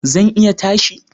Zan iya tashi